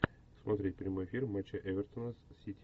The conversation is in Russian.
смотреть прямой эфир матча эвертона с сити